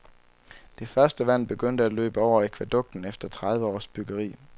Det første vand begyndte at løbe over akvædukten efter tredive års byggeri.